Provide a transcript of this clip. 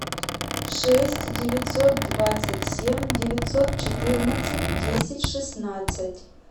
шесть девятьсот двадцать семь девятьсот четырнадцать десять шестнадцать